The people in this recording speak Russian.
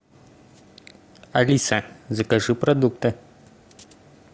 алиса закажи продукты